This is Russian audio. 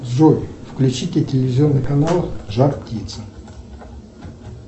джой включите телевизионный канал жар птица